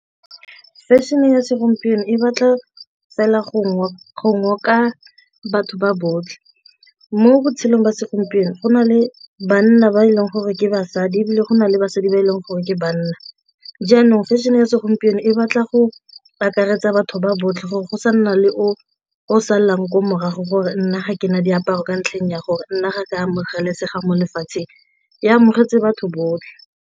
Fashion-e ya segompieno e batla fela go ngoka go ngoka batho ba botlhe mo botshelong ba segompieno go na le banna ba e leng gore ke basadi ebile go na le basadi ba e leng gore ke banna, jaanong fashion-e ya segompieno e batla go akaretsa batho ba botlhe gore go sa nna le o o salang ko morago gore nna ga ke na diaparo ka ntlheng ya gore nna ga ke amogelesega mo lefatsheng, e amogetse batho botlhe.